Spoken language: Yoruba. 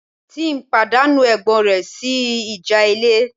Tim pàdánù ẹ̀gbọ́n rẹ̀ sí ìjà ilé